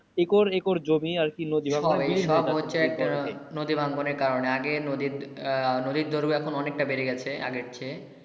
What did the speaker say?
acre acre জমি নদী ভাঙ্গনের কারণে আগে নদীর তরু এখন অনেকটা বেড়ে গেছে আগের চেয়ে